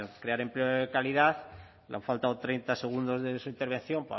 crear empleo de calidad le han faltado treinta segundos de su intervención